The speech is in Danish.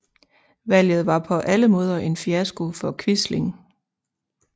Valget var på alle måder en fiasko for Quisling